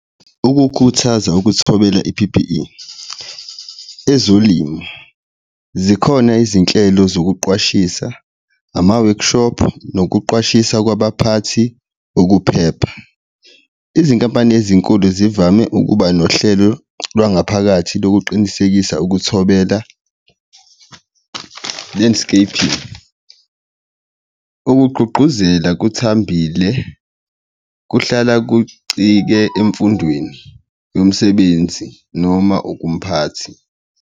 Ukukhuthaza ukuthobela i-P_P_E ezolimo zikhona izinhlelo zokuqwashisa, ama-workshop nokuqwashisa kwabaphathi. Ukuphepha, izinkampani ezinkulu zivame ukuba nohlelo lwangaphakathi lokuqinisekisa ukuthobela, land scaping, ukugqugquzela okuthambile kuhlala kucike emfundweni yomsebenzi noma ukumphathi.